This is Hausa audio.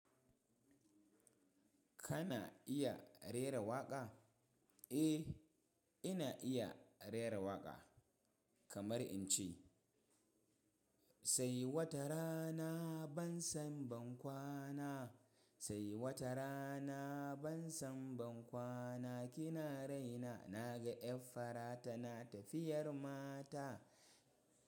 Kana iya rera waƙa? Eh, ina iya rera waƙa kamar in ce sai watarana ban san bankwana, sai watarana ban san bankwana kina raina naga 'yan fara tana tafiyar mata.